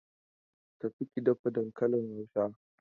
Tafi ki dafa dankalin Hausa!